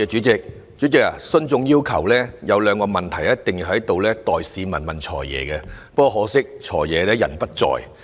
主席，徇眾要求，有兩個問題我必須在此代市民向"財爺"提出，很可惜"財爺"現時並不在席。